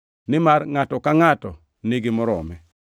nimar ngʼato ka ngʼato nigi morome.